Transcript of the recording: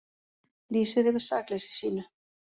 Lýsir yfir sakleysi sínu